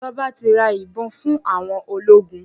Ìjọba ti ra ìbọn fún àwọn ológun.